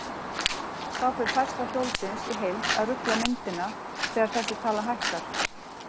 Þá fer færsla hjólsins í heild að rugla myndina þegar þessi tala hækkar.